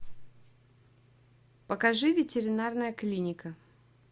покажи ветеринарная клиника